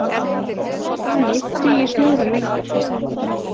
Þannig dugi snjórinn lengur